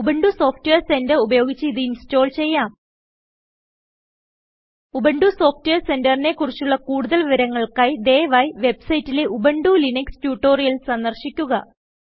Ubuntu software centre ഉപയോഗിച്ച് ഇത് install ചെയ്യാം ഉബുണ്ടു സോഫ്റ്റ്വെയർ സെന്ററിനെ കുറിച്ചുള്ള കൂടുതൽ വിവരങ്ങൾക്കായി ദയവായി വെബ്സൈറ്റിലെ ഉബുന്റു ലിനക്സ് ട്യൂട്ടോറിയൽസ് സന്ദർശിക്കുക